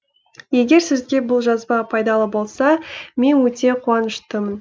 егер сізге бұл жазба пайдалы болса мен өте қуаныштымын